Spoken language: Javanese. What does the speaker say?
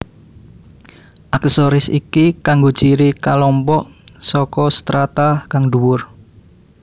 Aksesoris iki kanggo ciri kalompok saka strata kang dhuwur